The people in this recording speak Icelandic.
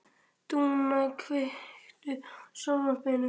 Dúnna, kveiktu á sjónvarpinu.